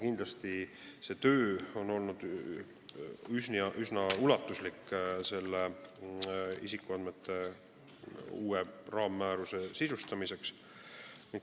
Kindlasti on see töö selle uue isikuandmete raammääruse sisustamisel olnud üsna ulatuslik.